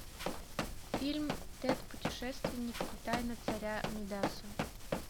фильм тэд путешественник и тайна царя мидаса